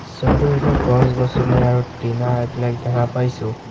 ছবিটোৰ ভিতৰত গছ-গছনি আৰু টিনাৰ ব্লেড দেখা পাইছোঁ।